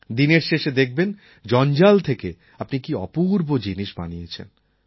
দিনের শেষে দেখবেন জঞ্জাল থেকে আপনি কী অপূর্ব জিনিস বানিয়েছেন